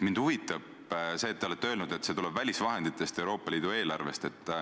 Mind huvitab see, et te olete öelnud, et see tuleb välisvahenditest, Euroopa Liidu eelarvest.